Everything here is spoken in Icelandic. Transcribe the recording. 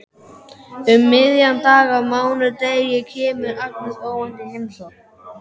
Um miðjan dag á mánudegi kemur Agnes óvænt í heimsókn.